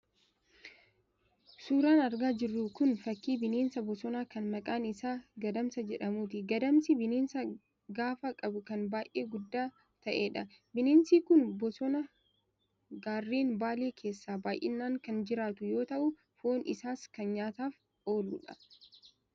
Suuraan argaa jirru kun, fakkii bineensa bosonaa kan maqaan isaa Gadamsa jedhamuuti. Gadamsi bineensa gaafa qabu kan baay'ee guddaa ta'edha. Bineensi kun bosona gaarreen Baalee keessa baay'inaan kan jiraatu yoo ta'u, foon isaas kan nyaataaf ooluudha.